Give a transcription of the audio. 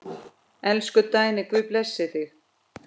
Elsku Dagný, Guð geymi þig.